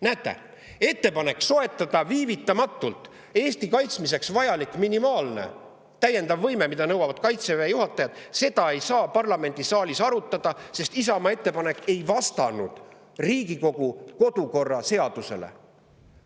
Näete, ettepanekut soetada viivitamatult Eesti kaitsmiseks vajalik minimaalne täiendav võime, mida nõuavad Kaitseväe juhatajad, ei saa parlamendisaalis arutada, sest Isamaa ettepanek ei vastanud Riigikogu kodukorra seadusele.